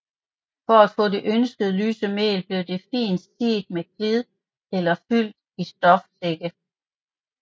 For at få det ønskede lyse mel blev det fint siet med klid eller fyldt i stofsække